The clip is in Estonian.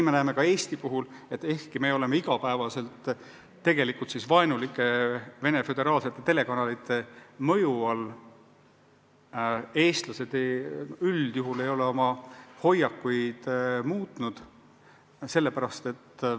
Me näeme Eestis, et ehkki me oleme iga päev vaenulike Venemaa föderaalsete telekanalite mõju all, eestlased üldjuhul ei ole oma hoiakuid muutnud.